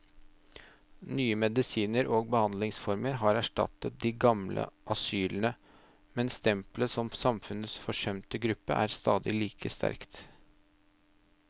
Nye medisiner og behandlingsformer har erstattet de gamle asylene, men stempelet som samfunnets forsømte gruppe er stadig like sterkt.